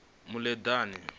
muleḓane